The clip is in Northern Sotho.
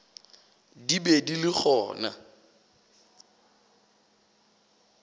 di be di le gona